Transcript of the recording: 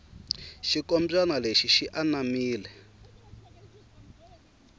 xinkombyani lexi xi anamile